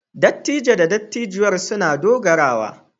Dattijo da dattijuwar sun na dogara.